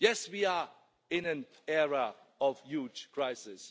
Yes, we are in an era of huge crisis.